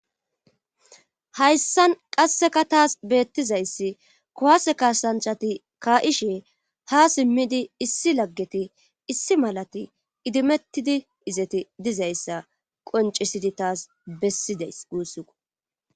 Hayssan qasseka taas beettizayssi kowase kaasanchati ka7ishe ha simmidi issi laggeti issi malati idimettidi izeti dizayssa qoncisidi taas bessideys guussiko